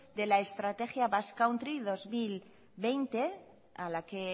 de la estrategia basque country dos mil veinte a la que